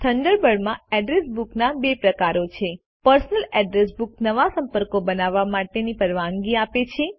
થન્ડરબર્ડમાં address બુકના બે પ્રકારો છે પર્સનલ અડ્રેસ બુક નવા સંપર્કો બનાવવા માટેની પરવાનગી આપે છે